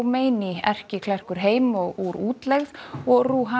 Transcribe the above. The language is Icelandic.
Khomeini erkiklerkur heim úr útlegð og